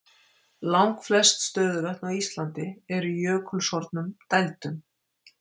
Langflest stöðuvötn á Íslandi eru í jökulsorfnum dældum.